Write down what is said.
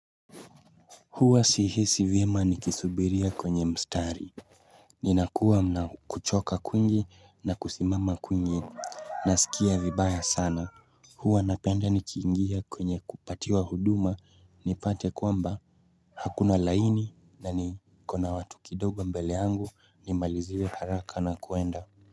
Huwa sihisi vyema ni kisubiria kwenye mstari. Ninakuwa na kuchoka kwingi na kusimama kwingi nasikia vibaya sana. Huwa napenda nikiingia kwenye kupatiwa huduma nipate kwamba hakuna laini na niko na watu kidogo mbele yangu nimaliziwe haraka na kuenda.